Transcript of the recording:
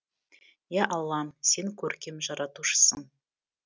ия аллам сен көркем жаратушысың